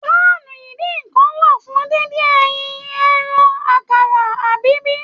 Pàánú idínnkan wà fún díndín ẹyìn, ẹran, àkàrà abbl.